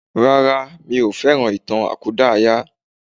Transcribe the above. Rárá, mí ò fẹ́ràn ìtàn àkúdàáyà.